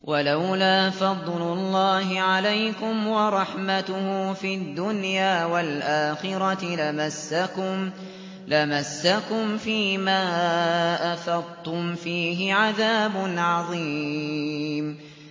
وَلَوْلَا فَضْلُ اللَّهِ عَلَيْكُمْ وَرَحْمَتُهُ فِي الدُّنْيَا وَالْآخِرَةِ لَمَسَّكُمْ فِي مَا أَفَضْتُمْ فِيهِ عَذَابٌ عَظِيمٌ